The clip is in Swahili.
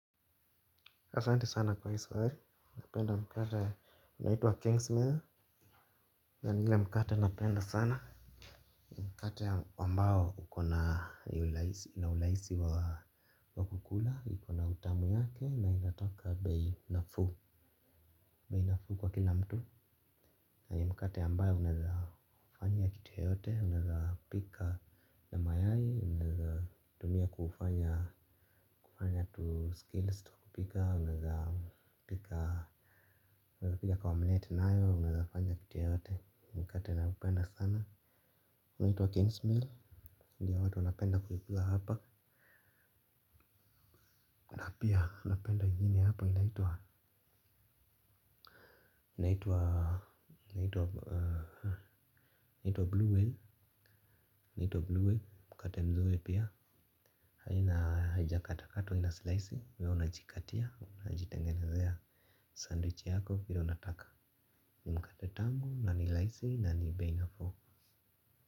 Asante sana kwa hii swali, napenda mkate unaitwa Kingsmere. Na niile mkate napenda sana. Mkate ambao ukona inaurahisi wa wa kukula, ikona utamu yake na inatoka bei nafuu bei nafuu kwa kila mtu nani mkate ambayo unazafanya kitu yeyote, unazapika na mayai, unaezatumia kufanya kufanya tuskills twakupika, unaezapika kwa mnet nayo unaezafanya kitu yeyote mkate naupenda sana unaitwa kingsmeal ndito watu wanapenda kuikula hapa na pia napenda ingine hapa inaitwa inaitwa inaitwa inaitwa blueway inaitwa blueway mkate mzuri pia haina haijakatwakatwa haina slicing ni wewe unjikatia unajitengenezea sandwich yako vile unataka ni mkate tamu nani rahisi nani bei nafuu.